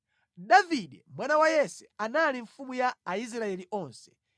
Davide mwana wa Yese anali mfumu ya Aisraeli onse.